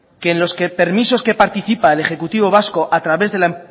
que en los permisos que participa el ejecutivo vasco a través de la